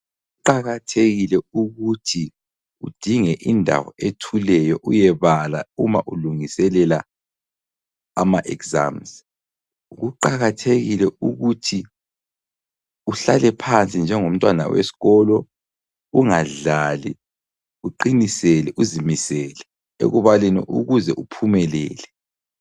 Kuqakathekile ukuthi udinge indawo ethuleyo uyebala uma ulungiselela ama exams. Kuqakathekile ukuthi uhlale phansi njengomntwana wesikolo ungadlali, uqinisele uzimisele ekubaleni ukuze uphumelele.